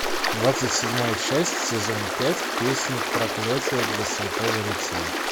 двадцать седьмая часть сезона пять песнь проклятие для святого рыцаря